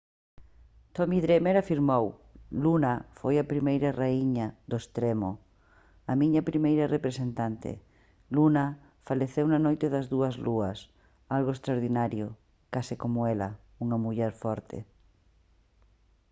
tommy dreamer afirmou: «luna foi a primeira raíña do «extremo». a miña primeira representante. luna faleceu na noite das dúas lúas. algo extraordinario case coma ela. unha muller forte»